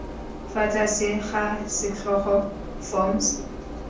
fa tlase ga setlhogo forms